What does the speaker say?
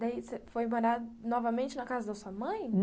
Daí, você foi morar novamente na casa da sua mãe?